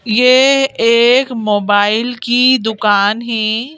येह एक मोबाइल की दुकान है।